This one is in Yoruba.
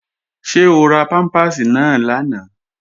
Ṣé o ra pámpàsì náà lánàá?